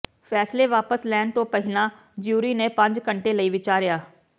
ਫੈਸਲੇ ਵਾਪਸ ਲੈਣ ਤੋਂ ਪਹਿਲਾਂ ਜਿਊਰੀ ਨੇ ਪੰਜ ਘੰਟੇ ਲਈ ਵਿਚਾਰਿਆ